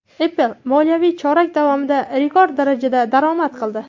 Apple moliyaviy chorak davomida rekord darajada daromad qildi.